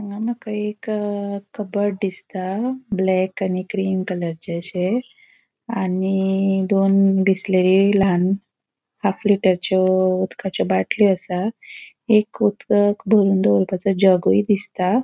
हांगा मका एक कबड़ दिसता ब्लॅक आणि ग्रीन कलराचे आशे आणि दोन बिसलेरी लहान हाफ लिटरचयों उदकाचो बाटलो दिसता एक उदक बोरन दोरपाची जगूय दिसता.